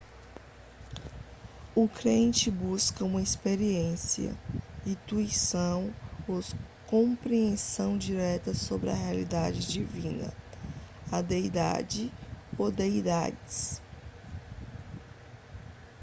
o crente busca uma experiência intuição ou compreensão direta sobre a realidade divina/a deidade ou deidades